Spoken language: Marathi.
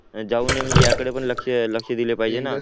जाऊ नाही म्हणजे याकडे पण लक्ष लक्ष दिले पाहिजे ना